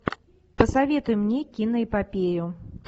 посоветуй мне киноэпопею